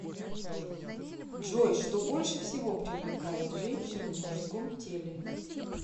джой что больше всего привлекает женщин в мужском теле